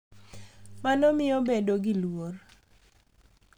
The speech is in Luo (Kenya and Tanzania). Mano miyo bedo gi luor